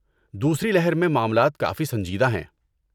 دوسری لہر میں معاملات کافی سنجیدہ ہیں۔